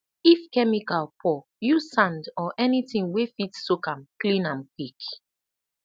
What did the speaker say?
if chemical pour use sand or anything wey fit soak am clean am quick